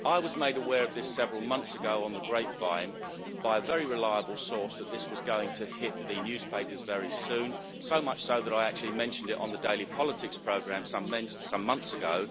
I was made aware several months ago on the grapevine, by a very reliable source, that this was going to hit the newspapers very soon, so much so that I actually mentioned it on the Daily Politics programme some months ago.